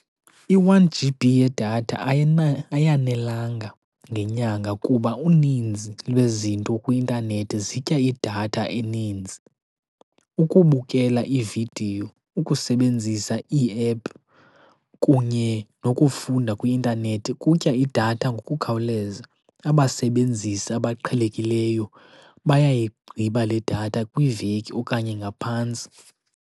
I-One G_B yedatha ayanelanga ngenyanga kuba uninzi lwezinto kwi-intanethi zitya idatha eninzi. Ukubukela iividiyo, ukusebenzisa iiephu, kunye nokufunda kwi-intanethi kutya idatha ngokukhawuleza. Abasebenzisi abaqhelekileyo bayayigqiba le datha kwiiveki okanye ngaphantsi.